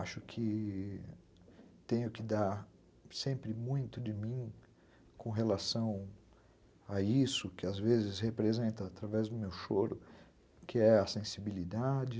Acho que tenho que dar sempre muito de mim com relação a isso que às vezes representa através do meu choro, que é a sensibilidade.